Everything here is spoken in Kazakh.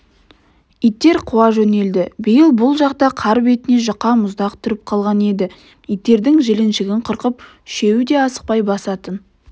иттер қуа жөнелді биыл бұл жақта қар бетіне жұқа мұздақ тұрып қалған еді иттердің жіліншігін қырқып үшеуі де ақсай басатын